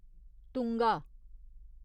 Tunga